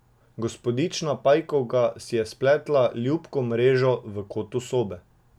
Gospodična Pajkovka si je spletla ljubko mrežo v kotu sobe.